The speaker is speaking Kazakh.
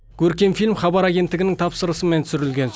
көркем фильм хабар агенттігінің тапсырысымен түсірілген